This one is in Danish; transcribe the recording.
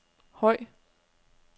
høj